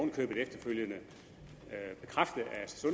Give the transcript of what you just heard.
i købet efterfølgende bekræftet